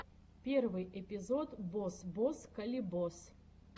первый эпизод бос бос калибос